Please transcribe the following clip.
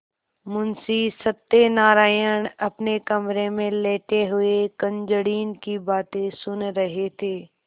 मुंशी सत्यनारायण अपने कमरे में लेटे हुए कुंजड़िन की बातें सुन रहे थे